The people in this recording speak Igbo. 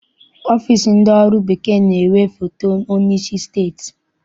Ọfịịsi ndị ọrụ bekee na-enwe foto onyeisi steeti.